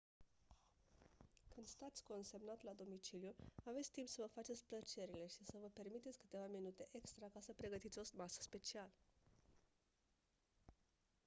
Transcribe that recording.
când stați consemnat la domiciliu aveți timp să vă faceți plăcerile și să vă permiteți câteva minute extra ca să pregătiți o masă specială